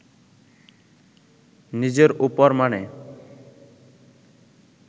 নিজের ওপর মানে